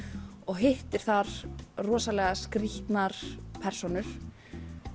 hittir þar rosalega skrýtnar persónur